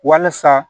Walasa